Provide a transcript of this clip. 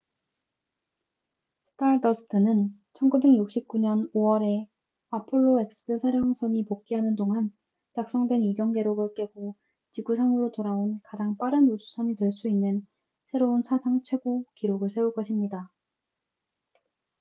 stardust는 1969년 5월에 apollo x 사령선이 복귀하는 동안 작성된 이전 기록을 깨고 지구상으로 돌아온 가장 빠른 우주선이 될 수 있는 새로운 사상 최고 기록을 세울 것입니다